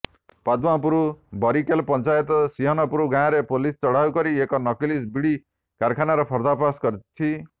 ପଦ୍ମପୁର ବରିକେଲ ପଞ୍ଚାୟତ ସିଂହନପୁର ଗାଁରେ ପୋଲିସ ଚଢ଼ାଉ କରି ଏକ ନକଲି ବିଡ଼ି କାରଖାନାର ପର୍ଦ୍ଦାଫାସ କରିଛି